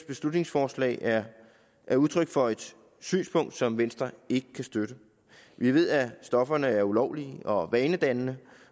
beslutningsforslag er er udtryk for et synspunkt som venstre ikke kan støtte vi ved at stofferne er ulovlige og vanedannende